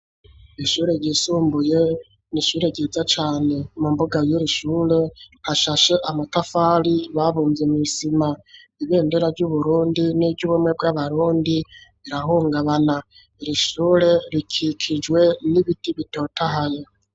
Ishure ryisumbuye n'ishure ryiza cane mu mbuga yiri shure hashashe amatafari babumvye mw'isima ibendera ry'uBurundi niryubumwe bw'abarundi rirahungabana irishure rikikijwe n'ibiti bitotahaye.